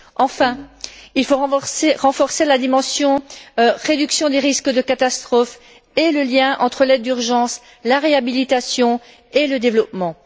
Enfin, il faut renforcer la dimension réduction des risques de catastrophe et le lien entre l'aide d'urgence, la réhabilitation et le développement.